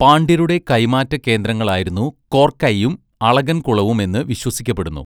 പാണ്ട്യരുടെ കൈമാറ്റ കേന്ദ്രങ്ങളായിരുന്നു കോർക്കൈയും അളഗൻകുളവും എന്ന് വിശ്വസിക്കപ്പെടുന്നു.